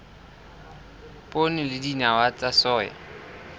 poone le dinawa tsa soya